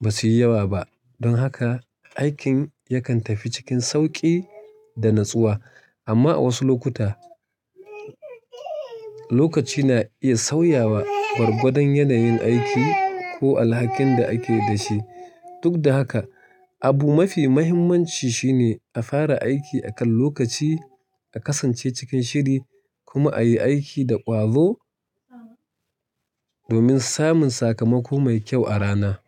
ba su yi yawa ba, don haka aikin yakan tafi cikin sauƙi da natsuwa. Amma a wasu lokuta, lokaci na iya sauyawa gwargwadon yanayin aiki ko alhakin da ake da shi. Duk da haka, abu mafi muhimmanci shine a fara aiki akan lokaci, a kasance cikin shiri kuma a yi aiki da ƙwazo domin samun sakamako mai kyau a rana.